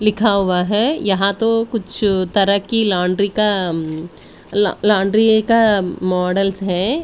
लिखा हुआ है यहां तो कुछ तरह की लौंड्री का लौंड्री का मॉडल्स है।